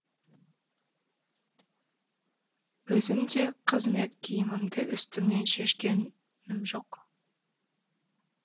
өзім де қызмет киімімді үстімнен шешкенім жоқ